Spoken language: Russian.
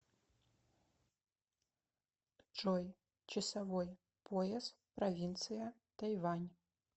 джой часовой пояс провинция тайвань